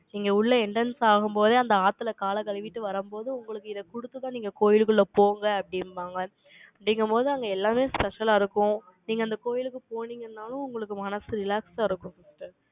இங்க உள்ள, entrance ஆகும்போதே, அந்த ஆத்தில, காலை கழுவிட்டு வரும்போதே, உங்களுக்கு, இதை குடுத்துதான், நீங்க, நீங்க கோயிலுக்குள்ள போங்க அப்படின்பாங்க. அப்படிங்கும்போது, அங்க எல்லாமே special ஆ இருக்கும். நீங்க அந்த கோயிலுக்கு போனீங்கனாலும், உங்களுக்கு மனசு relax ஆ இருக்கும். sister